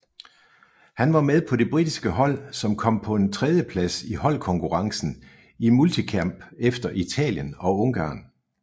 Han var med på det britiske hold som kom på en tredjeplads i holdkonkurrencen i multikamp efter Italien og Ungarn